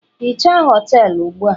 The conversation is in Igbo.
hichaa họtelu ugbu a!